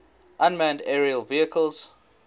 unmanned aerial vehicles